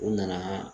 U nana